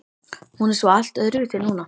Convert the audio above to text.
Hún er svo allt öðruvísi núna.